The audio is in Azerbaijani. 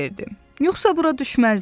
Yoxsa bura düşməzdin.